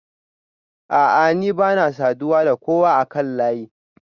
A'a ni bana saduwa da kowa akan layi